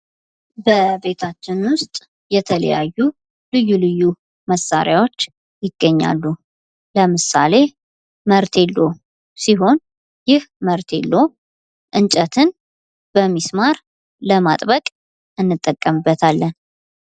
በቤታችን ውስጥ የተለያዩ ልዩ ልዩ መሣሪያዎች ይገኛሉ ከነዚህም ዉስጥ አንዱ መርቴሎ ሲሆን ይህ መርቴሎ እንጨትን በሚስማር ለማጥበቅ እንጠቀቅምበታለን